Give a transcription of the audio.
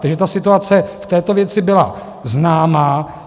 Takže ta situace v této věci byla známá.